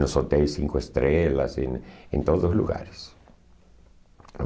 Nos hotéis Cinco Estrelas, em em todos os lugares.